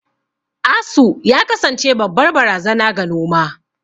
Asu ya kasance babbar barazana ga noma.